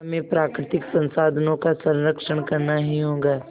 हमें प्राकृतिक संसाधनों का संरक्षण करना ही होगा